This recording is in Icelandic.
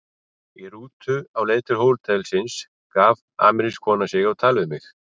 Í rútu á leið til hótelsins gaf amerísk kona sig á tal við mig.